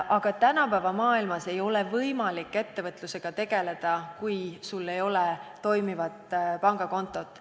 Aga tänapäeva maailmas ei ole võimalik ettevõtlusega tegeleda, kui sul ei ole toimivat pangakontot.